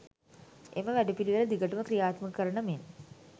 එම වැඩපිළිවෙල දිගටම ක්‍රියාත්මක කරන මෙන්